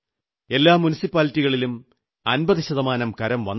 എല്ലാ മുനിസിപ്പാലിറ്റികളും 50 ശതമാനം കരം വന്നെങ്കിലായി